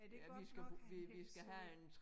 Er det godt nok hvis øh